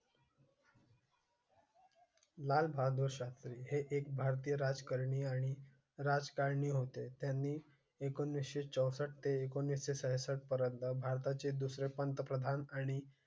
लाल बहादुर शास्त्री हे एक भारतीय राजकारणी आणि राजकारणी होते. त्यांनी एकोणीस चौसष्ट ते एकोणीस साठ पर्यंत भारता चे दुसरे पंतप्रधान आणि